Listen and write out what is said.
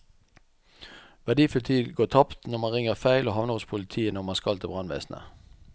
Verdifull tid går tapt når man ringer feil og havner hos politiet når man skal til brannvesenet.